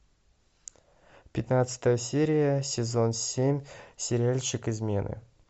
пятнадцатая серия сезон семь сериальчик измены